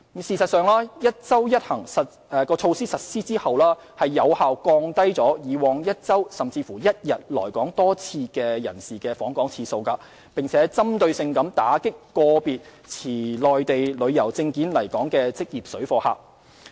事實上，"一周一行"措施實施後，有效降低以往1周甚至1天來港多次人士的訪港次數，並針對性打擊個別持內地旅遊證件來港的職業水貨客。